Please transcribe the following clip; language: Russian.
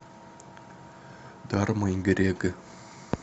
дарма и грег